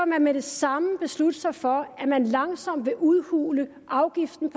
med det samme vil beslutte sig for at man langsomt vil udhule afgiften